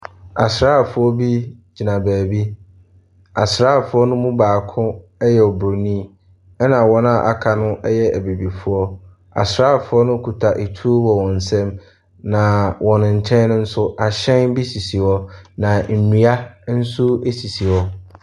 Asrafoɔ bi gyina baabi. Asrafoɔ no mu baako yɛ obroni ɛna wɔn a aka no yɛ abibifoɔ. Asrafoɔ no kuta etuo wɔ wɔn nsam na wɔ wɔn kyɛn no nso ahyɛn bi sisi hɔ. Nnua nso esisi hɔ.